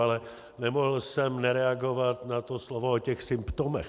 Ale nemohl jsem nereagovat na to slovo o těch symptomech.